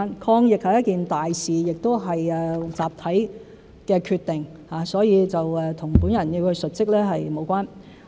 抗疫是一件大事，亦是集體的決定，所以與本人要述職無關。